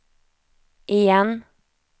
igen